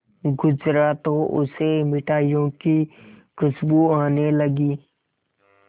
गुजरा तो उसे मिठाइयों की खुशबू आने लगी